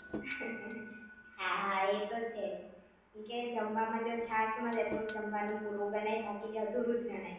હા હા એતો છેજ કેમકે જમવા મા જો છાશ મલે તો જમવા નું પૂરું ગણાય બાકી અધૂરું જ ગણાય